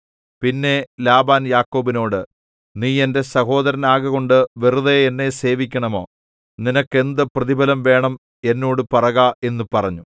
പിന്നെ ലാബാൻ യാക്കോബിനോട് നീ എന്റെ സഹോദരനാകകൊണ്ട് വെറുതെ എന്നെ സേവിക്കണമോ നിനക്ക് എന്ത് പ്രതിഫലം വേണം എന്നോട് പറക എന്നു പറഞ്ഞു